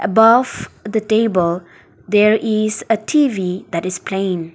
buff the table there is a T_V that is playing.